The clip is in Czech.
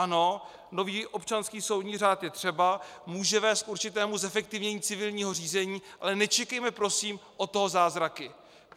Ano, nový občanský soudní řád je třeba, může vést k určitému zefektivnění civilního řízení, ale nečekejme prosím od toho zázraky.